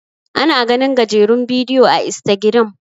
ana ganin gajerun bidiyo a istagiram